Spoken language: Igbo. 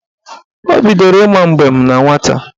Ọ bidoro ịma mbem na nwata